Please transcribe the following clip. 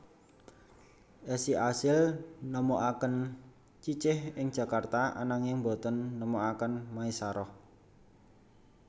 Esi asil nemokaken Cicih ing Jakarta ananging boten nemokaken Maesaroh